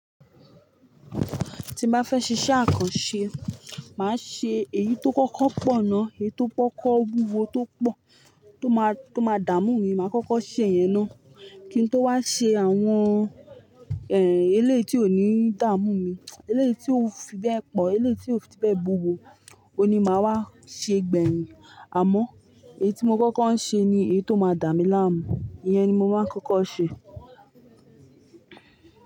Tí bá fẹ́ ṣe iṣẹ́ àkànṣe, màá ṣe èyí tó kọ́kọ́ pọ̀ ná. Èyí tó kọ́kọ́ wúwo tó pọ̀, tó má, tó má dààmú mi, màá kọ́kọ́ ṣe yẹn ná. Kí n tó wá ṣe àwọn, ehn, ilé tí ò ní dààmú mi, ilé tí ò fi bẹ́ẹ̀ pọ̀, ilé tí ò fi bẹ́ẹ̀ wúwo, òní màá wá ṣe gbẹ̀yin. Àmọ́, èyí tí mo kọ́kọ́ ń ṣe ni èyí tó máa dààmú láàámun. Iyẹn ni mo máa ń kọ́kọ́ ṣe.